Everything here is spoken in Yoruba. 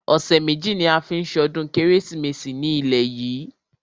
Ọ̀sẹ̀ méjì ní a ó fi ṣọdún kérésìmesì ní ilé yìí.